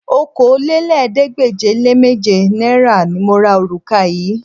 Okòólélẹ́ẹ̀ẹ́dégbèje-le-méje náírà ni mo ra òrùka yìí